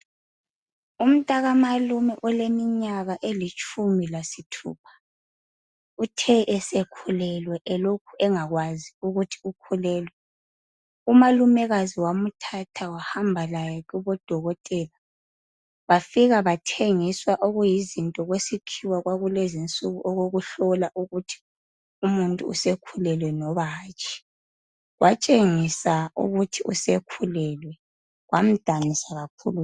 Umntakamalume oleminyaka elitshumi lasithupha uthe esekhulelwe elokhu engakwazi ukuthi ukhulelwe umalumekazi wamthatha wahambalaye kubodokotela bafika bathengiswa okuyizinto kwalezinsuku okokuhlola ukuthi umuntu usekhulelwe noma hatshi, watshengisa ukuthi usekhulelwe kwamdanisa kakhulu